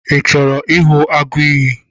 Ị chọrọ ịhụ agụiyi?